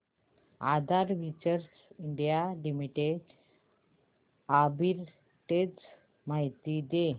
आधार ventures India limited arbitrage माहिती दे